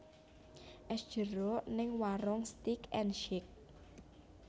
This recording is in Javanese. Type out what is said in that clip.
Es jeruk ning Waroenk Steak and Shake